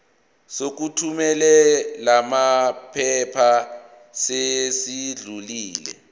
sokuthumela lamaphepha sesidlulile